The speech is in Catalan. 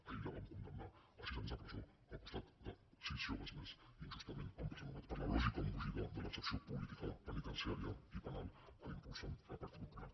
ahir la van condemnar a sis anys de presó al costat de sis joves més injustament empresonats per la lògica embogida de l’excepció política penitenciària i penal que impulsa el partit popular